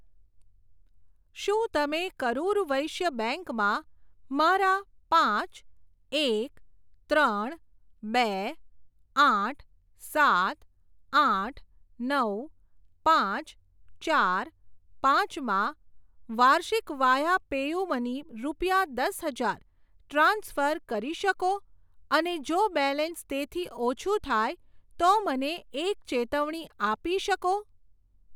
શું તમે કરુર વૈશ્ય બેંક માં મારા પાંચ એક ત્રણ બે આઠ સાત આઠ નવ પાંચ ચાર પાંચ માં વાર્ષિક વાયા પેયુમની રૂપિયા દસ હજાર ટ્રાન્સફર કરી શકો અને જો બેલેન્સ તેથી ઓછું થાય તો મને એક ચેતવણી આપી શકો?